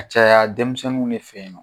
A caya denmisɛnninw de fɛ yen nɔ